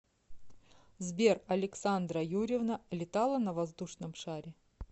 сбер александра юрьевна летала на воздушном шаре